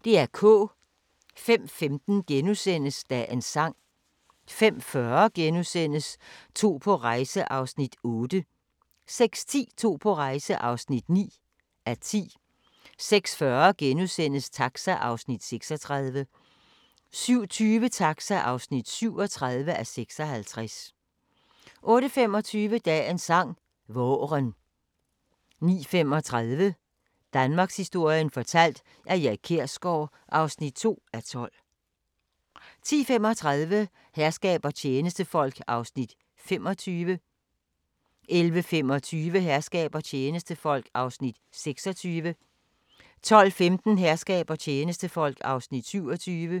05:15: Dagens sang * 05:40: To på rejse (8:10)* 06:10: To på rejse (9:10) 06:40: Taxa (36:56)* 07:20: Taxa (37:56) 08:25: Dagens sang: Vaaren 09:35: Danmarkshistorien fortalt af Erik Kjersgaard (2:12) 10:35: Herskab og tjenestefolk (25:68) 11:25: Herskab og tjenestefolk (26:68) 12:15: Herskab og tjenestefolk (27:68)